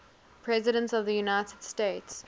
presidents of the united states